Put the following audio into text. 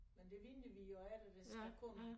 Men det venter vi jo efter det skal komme